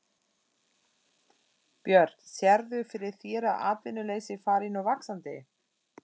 Björn: Sérðu fyrir þér að atvinnuleysi fari nú vaxandi?